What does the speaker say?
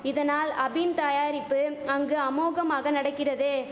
இதனால் அபின் தயாரிப்பு அங்கு அமோகமாக நடக்கிறது